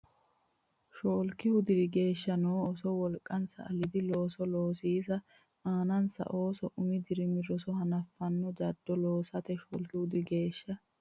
Shoolkihu diri geeshsha noo Ooso wolqansa aliidi looso loosiisa aanansa ooso umi dirimi roso hanaffanno jaddo loosate Shoolkihu diri geeshsha.